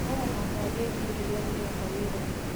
No mũhaka ndĩkie kĩrĩa ndĩreka wĩra-inĩ